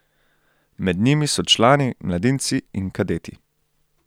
Med njimi so člani, mladinci in kadeti.